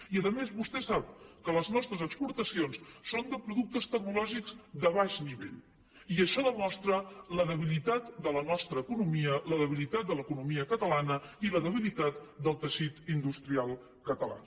i a més vostè sap que les nostres exportacions són de productes tecnològics de baix nivell i això demostra la debilitat de la nostra economia la debilitat de l’economia catalana i la debilitat del teixit industrial català